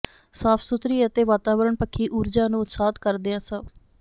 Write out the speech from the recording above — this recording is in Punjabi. ਸਾਫ ਸੁਥਰੀ ਅਤੇ ਵਾਤਾਵਰਣ ਪੱਖੀ ਊਰਜਾ ਨੂੰ ਉਤਸ਼ਾਹਿਤ ਕਰਦਿਆਂ ਸ